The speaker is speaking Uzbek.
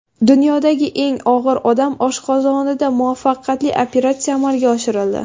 Dunyodagi eng og‘ir odam oshqozonida muvaffaqiyatli operatsiya amalga oshirildi.